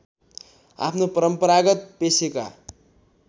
आफ्नो परम्परागत पेशेका